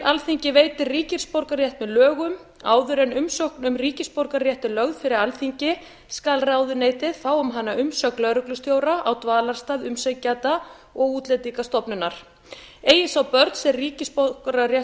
alþingi veitir ríkisborgararétt með lögum áður en umsókn um ríkisborgararétt er lögð fyrir alþingi skal ráðuneytið fá um hana umsögn lögreglustjóra á dvalarstað umsækjanda og útlendingastofnunar eigi sá börn sem ríkisborgararétt